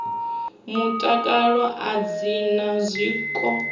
mutakalo a dzi na zwiko